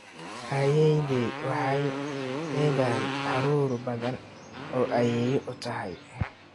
Ayeeyday waxay leedahay caruur badan oo ayeeyo u tahy.